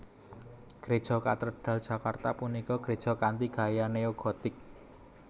Gréja Katedral Jakarta punika gréja kanthi gaya neo gotik